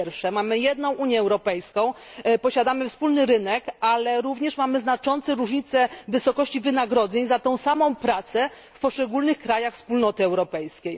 Po pierwsze, mamy jedną Unię Europejską, posiadamy wspólny rynek, ale mamy również znaczące różnice wysokości wynagrodzeń za tę samą pracę w poszczególnych krajach Unii Europejskiej.